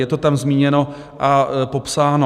Je to tam zmíněno a popsáno.